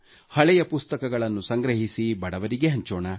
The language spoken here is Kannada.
ಹಳೆಯ ಪುಸ್ತಕಗಳನ್ನು ಸಂಗ್ರಹಿಸಿ ಬಡವರಿಗೆ ಹಂಚೋಣ